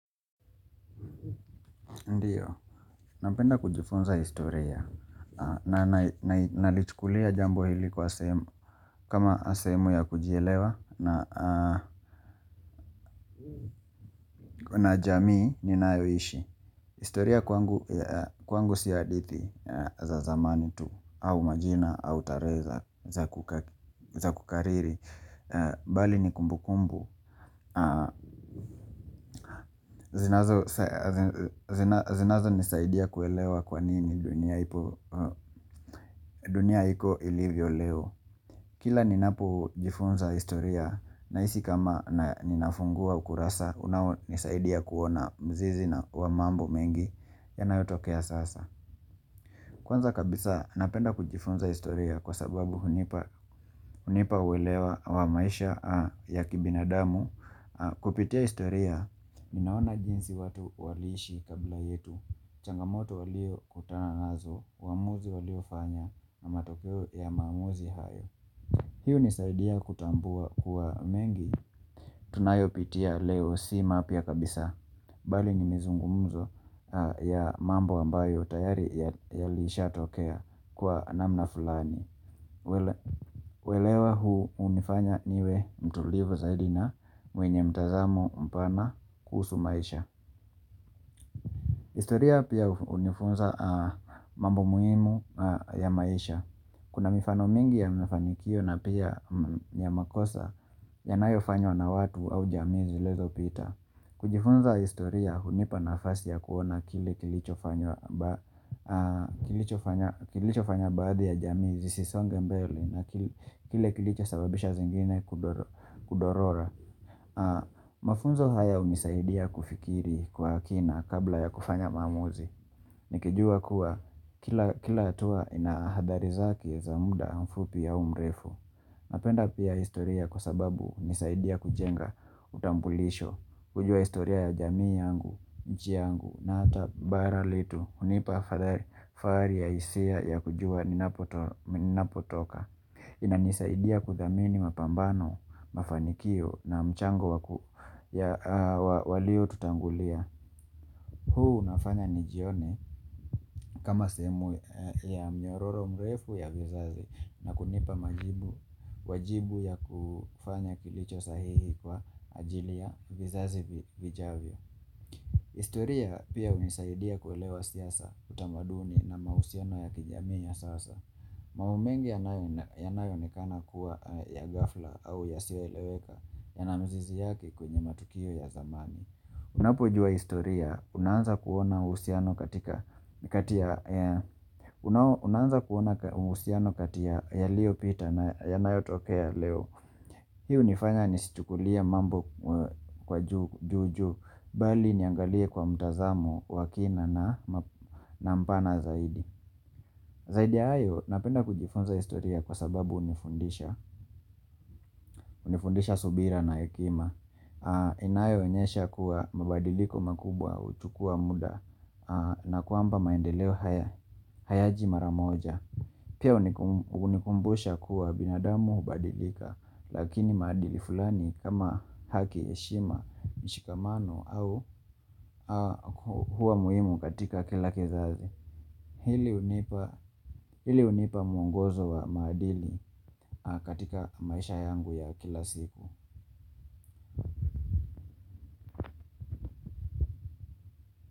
Ndio Napenda kujifunza historia. Na nalichukulia jambo hili kwa. Kama sehemu ya kujielewa na jamii ninayoishi. Historia kwangu si hadithi za zamani tu, au majina, au tarehe za kukariri, bali ni kumbu kumbu, zinazonisaidia kuelewa kwa nini dunia ipo ilivyo leo. Kila ninapojifunza historia, nahisi kama ninafungua ukurasa, unao nisaidia kuona mzizi wa mambo mengi yanayotokea sasa. Kwanza kabisa napenda kujifunza historia kwa sababu hunipa uwelewa wa maisha ya kibinadamu kupitia historia ninaona jinsi watu waliishi kabla yetu. Changamoto waliokutana nazo, uamuzi waliofanya na matokeo ya maamuzi hayo. Hii hunisaidia kutambua kuwa mengi tunayo pitia leo si mapya kabisa Bali ni mizungumuzo ya mambo ambayo tayari yalishatokea kwa namna fulani uelewa huu unifanya niwe mtulivu zaidi na mwenye mtazamo mpana kuhusu maisha historia pia hunifunza mambo muhimu ya maisha Kuna mifano mingi ya mafanyikio na pia ya makosa yanayofanywa na watu au jamii zilizopita kujifunza historia hunipa nafasi ya kuona kile kilichofanywa kilichofanya baadhi ya jamii zisisonge mbele na kilichosababisha zingine kudorora Mafunzo haya hunisaidia kufikiri kwa kina kabla ya kufanya maamuzi Nikijua kuwa kila hatua ina hadhari zake za muda mfupi ya umrefu Napenda pia historia kwa sababu hunisaidia kujenga utambulisho kujua historia ya jamii yangu, nchi yangu na hata bara letu hunipa fahari ya hisia ya kujua ninapotoka inanisaidia kudhamini mapambano, mafanikio na mchango wa walio tutangulia huu unafanya nijione kama sehemu ya myororo mrefu ya vizazi na kunipa wajibu wa kufanya kilicho sahihi kwa ajili ya vizazi vijavyo. Historia pia hunisaidia kuelewa siasa utamaduni na mahusiano ya kijamii ya sasa. Mambbo mengi yanayoonekana kuwa ya ghafla au yasiyoeleweka yana mizizi yake kwenye matukio ya zamani. Unapojua historia, unaanza kuona uhusiano kati yaliopita na yanayotokea Leo Hii hunifanya nisichukulie mambo kwa juujuu, bali niangalie kwa mtazamo wa kina na mpana zaidi Zaidi ya hayo, napenda kujifunza historia kwa sababu hunifundisha, hunifundisha subira na hekima Inayoonyesha kuwa mabadiliko makubwa huchukua muda na kwamba maendeleo haya hayaji mara moja Pia hunikumbusha kuwa binadamu hubadilika Lakini maadili fulani kama haki, heshima, mshikamano huwa muhimu katika kila kizazi Hili hunipa mwngozo wa maadili katika maisha yangu ya kila siku.